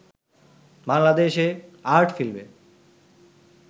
বাংলাদেশে আর্ট ফিল্মে